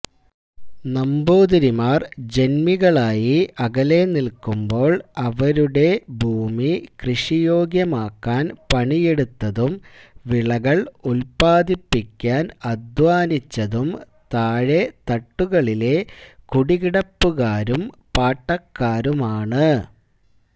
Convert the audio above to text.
നമ്പൂതിരിമാര് ജന്മികളായി അകലെനില്ക്കുമ്പോൾ അവരുടെ ഭൂമി കൃഷിയോഗ്യമാക്കാൻ പണിയെടുത്തതും വിളകള് ഉത്പാദിപ്പിക്കാൻ അദ്ധ്വാനിച്ചതും താഴെത്തട്ടുകളിലെ കുടികിടപ്പുകാരും പാട്ടക്കാരുമാണ്